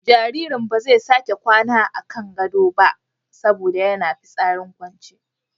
Jaririn ba zai sake kwana a kan gadon ba saboda yana fitsarin kwance.